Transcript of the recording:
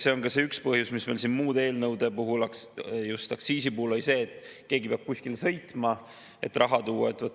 See on ka see põhjus, mis meil siin muude eelnõude puhul, just aktsiisi puhul oli, et keegi peab kuskile sõitma, et raha tuua.